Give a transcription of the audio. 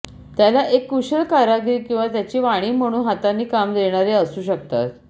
त्याला एक कुशल कारागीर किंवा त्याची वाणी म्हणून हातांनी काम देणारे असू शकतात